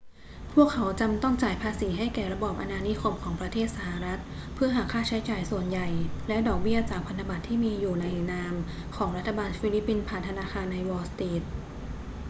พวกเขาจำต้องจ่ายภาษีให้แก่ระบอบอาณานิคมของประเทศสหรัฐเพื่อหักค่าใช้จ่ายส่วนใหญ่และดอกเบี้ยจากพันธบัตรที่อยู่ในนามของรัฐบาลฟิลิปปินส์ผ่านธนาคารในวอลล์สตรีท